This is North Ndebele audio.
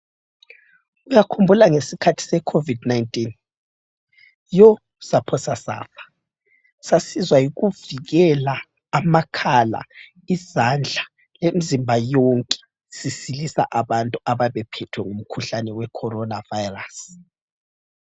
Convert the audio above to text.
Uyakhumbula ngesikhathi se COVID 19? Yoo saphosa safa. Sasizwa yikuvikela amakhala, izandla, lemzimba yonke sisilisa abantu ababephethwe ngumkhuhlane we Corona virus.